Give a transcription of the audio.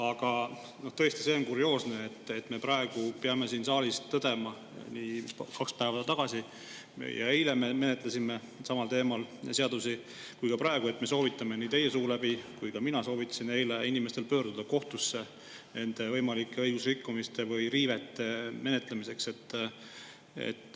Aga tõesti, see on kurioosne, et me peame siin saalis tõdema – kaks päeva tagasi ja eile me menetlesime samal teemal –, et me soovitame teie suu läbi ja ka mina soovitasin eile inimestel pöörduda kohtusse nende võimalike õigusrikkumiste või riivete menetlemiseks.